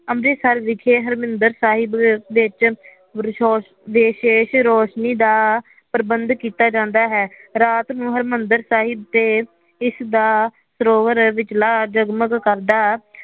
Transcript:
ਅੰਮ੍ਰਿਤਸਰ ਵਿਖੇ ਹਰਿਮੰਦਿਰ ਸਾਹਿਬ ਵਿਚ ਵਿਸ਼ੇਸ਼ ਰੋਸ਼ਨੀ ਦਾ ਪ੍ਰਬੰਧ ਕੀਤਾ ਜਾਦਾ ਹੈ ਰਾਤ ਨੂੰ ਹਰਮੰਦਰ ਸਾਹਿਬ ਦੇ ਇਸ ਦਾ ਸਰੋਵਰ ਵਿਚਲਾ ਜਗਮਗ ਕਰਦਾ